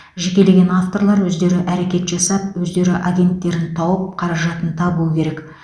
жекелеген авторлар өздері әрекет жасап өздері агенттерін тауып қаражатын табуы керек